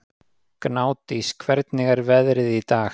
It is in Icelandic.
Gnádís, hvernig er veðrið í dag?